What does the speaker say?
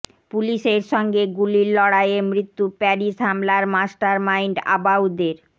পুলিসের সঙ্গে গুলির লড়াইয়ে মৃত্যু প্যারিস হামলার মাস্টার মাইন্ড আবাউদের